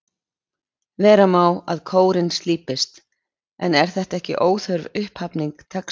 Vera má að kórinn slípist, en er þetta ekki óþörf upphafning textans?